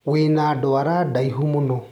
wĩna dwara daihu mũno